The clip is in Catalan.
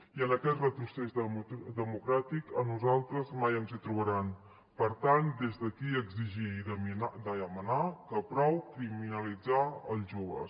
i en aquest retrocés democràtic a nosaltres mai ens hi trobaran per tant des d’aquí exigir i demanar que prou criminalitzar els joves